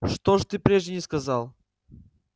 что ж ты прежде не сказал